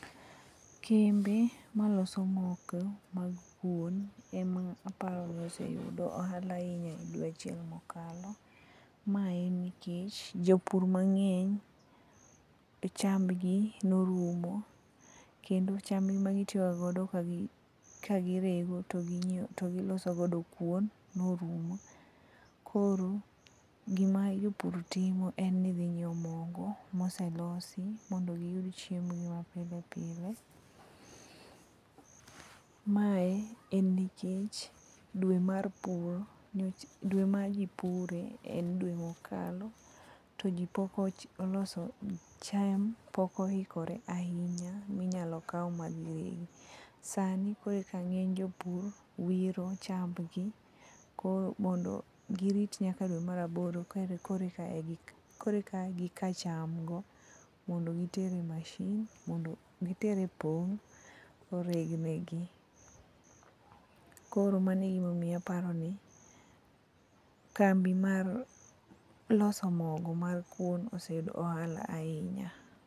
Kembe maloso moke mag kuon ema aparo ni oseyudo ohala ahinya e dweche mokalo. Ma en nikech jopur mang'eny, chambgi norumo, kendo chambgi magitiyoga godo ka girego to giloso godo kuon, norumo. Koro gima jopur timo en ni dhi ng'iewo mogo moselosi mondo giyud chiembgi mapile pile. Mae en nikech dwe ma ji pure en dwe mokalo, to ji pok ,cham pok oikore ahinya minyalo kaw madhi regi. Sani koreka ng'eny jopur wiro chambgi, mondo girit nyaka dwe mar aboro koreka gika chamgo mondo giter e pong' mondo oreg negi. Koro mano egimomiyo aparo ni kambi mar loso mogo mar kuon oseyudo ohala ahinya.